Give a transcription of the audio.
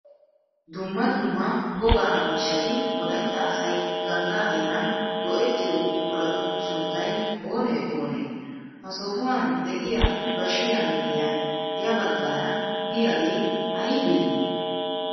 Dumma dumma wogaa miishshati wolaytta asay ganddaa heeran go"ettiyoo buquratu sunttay oonee oonee? ha sohuwan de'iyaa baashiyaa miyiyaan ya baggaraa diyaagee aybee?